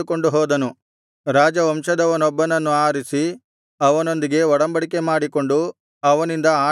ರಾಜವಂಶದವನೊಬ್ಬನನ್ನು ಆರಿಸಿ ಅವನೊಂದಿಗೆ ಒಡಂಬಡಿಕೆ ಮಾಡಿಕೊಂಡು ಅವನಿಂದ ಆಣೆಯಿಡಿಸಿದನು